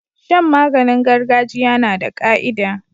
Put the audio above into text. Shan maganin gargajiya nada ka'ida